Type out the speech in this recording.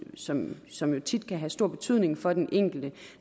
som som jo tit kan have stor betydning for den enkelte